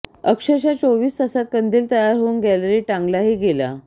अक्षरशः चोवीस तासात कंदील तयार होऊन गॅलरीत टांगला ही गेला